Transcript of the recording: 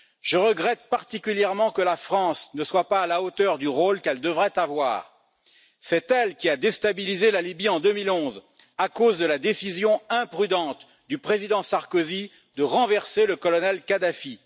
Je regrette particulièrement que la France ne soit pas à la hauteur du rôle qu'elle devrait avoir. C'est elle qui a déstabilisé la Libye en 2011 à cause de la décision imprudente du président Sarkozy de renverser le colonel Kadhafi.